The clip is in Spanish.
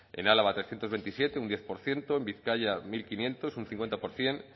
en álava trescientos veintisiete un diez por ciento en vizcaya mil quinientos un cincuenta por ciento